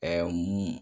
Ɛɛ mun